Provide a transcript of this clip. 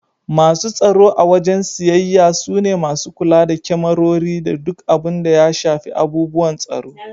Masu tsaro a wajen siyayya su ne masu kula da kemarori da duk abun da ya shafi abubuwan tsaro.